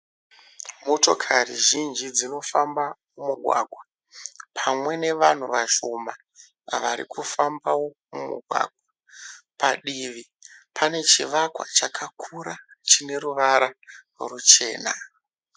Motokari zhinji dzirikufamba mumugwagwa. Pamwe nevanhu vashoma varikufambawo mumugwagwa. Padivi pane chivakwa chakakura chineruvara ruchena.